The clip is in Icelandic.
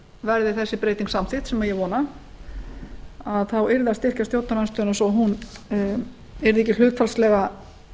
verði þessi breyting samþykkt sem ég vona þá yrði að styrkja stjórnarandstöðuna svo hún yrði ekki hlutfallslega